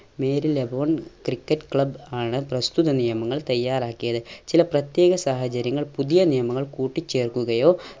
Marylebone cricket club ആണ് പ്രസ്തുത നിയമങ്ങൾ തയ്യാറാക്കിയത് ചില പ്രത്യേക സാഹചര്യങ്ങൾ പുതിയ നിയമങ്ങൾ കൂട്ടിച്ചേർക്കുകയോ